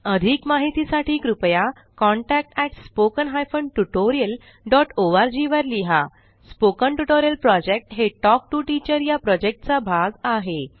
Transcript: अधिक माहितीसाठी कृपया contact at spoken hyphen tutorial dot org वर लिहा स्पोकन ट्युटोरियल प्रॉजेक्ट हे टॉक टू टीचर या प्रॉजेक्टचा भाग आहे